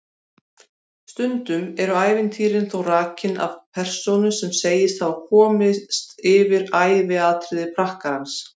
Stundum eru ævintýrin þó rakin af persónu sem segist hafa komist yfir æviatriði prakkarans.